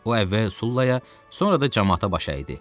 O əvvəl Sullaya, sonra da camaata baş əydi.